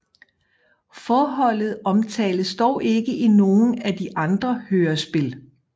Forholdet omtales dog ikke i nogen af de andre hørespil